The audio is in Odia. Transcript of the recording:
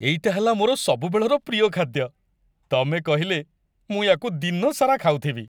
ଏଇଟା ହେଲା ମୋର ସବୁବେଳର ପ୍ରିୟ ଖାଦ୍ୟ, ତମେ କହିଲେ, ମୁଁ ୟାକୁ ଦିନ ସାରା ଖାଉଥିବି ।